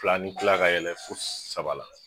Fila ni kila ka yɛlɛ fo saba la